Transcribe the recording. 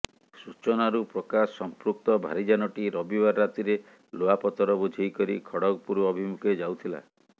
ସୂଚନାରୁ ପ୍ରକାଶ ସମ୍ପୃକ୍ତ ଭାରୀଯାନଟି ରବିବାର ରାତିରେ ଲୁହାପଥର ବୋଝେଇ କରି ଖଡଗପୁର ଅଭିମୁଖେ ଯାଉଥିଲା